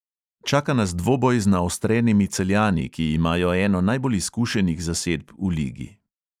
Čaka nas dvoboj z naostrenimi celjani, ki imajo eno najbolj izkušenih zasedb v ligi.